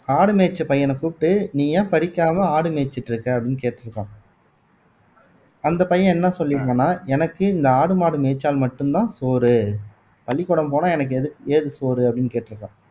ஆடு மேய்ச்ச பையன கூப்பிட்டு நீ ஏன் படிக்காம ஆடு மேய்ச்சுட்டு இருக்க அப்படின்னு கேட்டிருக்கார் அந்த பையன் என்ன சொல்லி இருந்தான்னா எனக்கு இந்த ஆடு மாடு மேய்ச்சால் மட்டும்தான் சோறு பள்ளிக்கூடம் போனால் எனக்கு ஏது ஏது சோறு அப்படின்னு கேட்டிருக்கான்